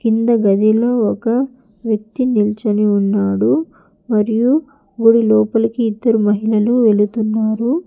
కింద గదిలో ఒక వ్యక్తి నిల్చోని ఉన్నాడు మరియు గుడి లోపలికి ఇద్దరు మహిళలు వెళుతున్నారు.